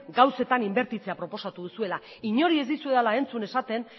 gauzetan inbertitzea proposatu duzuela inori ez dizuedala entzun esaten